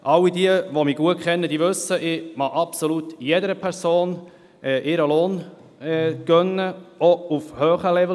All jene, die ich gut kenne, wissen, dass ich jeder Person ihren Lohn gönne, auch auf hohem Level.